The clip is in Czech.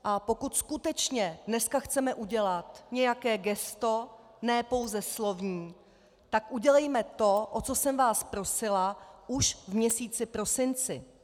A pokud skutečně dneska chceme udělat nějaké gesto, ne pouze slovní, tak udělejme to, o co jsem vás prosila už v měsíci prosinci.